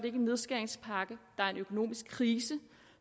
en nedskæringspakke der er en økonomisk krise